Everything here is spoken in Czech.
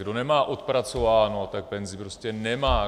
Kdo nemá odpracováno, tak penzi prostě nemá!